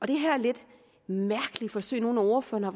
de her lidt mærkelige forsøg nogle af ordførerne